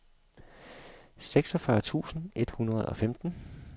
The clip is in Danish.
seksogfyrre tusind et hundrede og femten